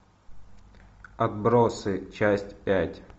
отбросы часть пять